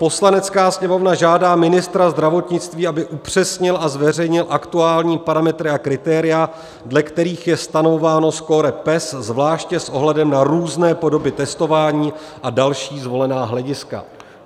"Poslanecká sněmovna žádá ministra zdravotnictví, aby upřesnil a zveřejnil aktuální parametry a kritéria, dle kterých je stanovováno skóre PES, zvláště s ohledem na různé podoby testování a další zvolená hlediska."